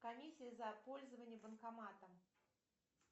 комиссия за пользование банкоматом